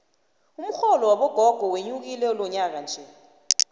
umxholo wabogogo wenyukile lonyakanje